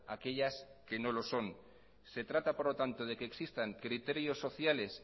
aquellas que no lo son se trata por lo tanto de que existan criterios sociales